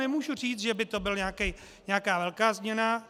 Nemohu říct, že by to byla nějaká velká změna.